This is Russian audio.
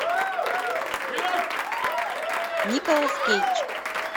николас кейдж